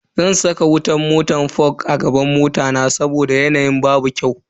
Zan saka wutan fog a gaban mota na saboda yanayi babu kyau.